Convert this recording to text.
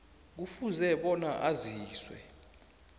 kufuze bona aziswe